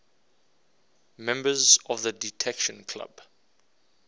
members of the detection club